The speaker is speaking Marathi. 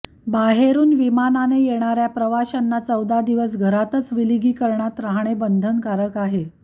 बाहेरून विमानाने येणाऱ्या प्रवाशांना चौदा दिवस घरातच विलगीकरणात राहणे बंधनकारक आहे